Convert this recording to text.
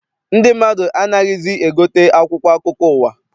Ndị mmadụ anaghịzi egote akwụkwọ akụkọ ụwa.